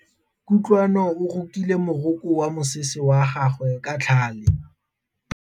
Kutlwanô o rokile morokô wa mosese wa gagwe ka tlhale.